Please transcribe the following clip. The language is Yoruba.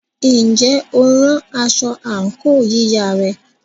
Ǹjẹ́ o rán aṣọ àǹkóò yíya rẹ?